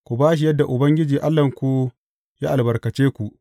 Ku ba shi yadda Ubangiji Allahnku ya albarkace ku.